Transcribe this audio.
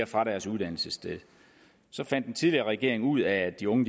fra deres uddannelsessted fandt den tidligere regering ud af at de unge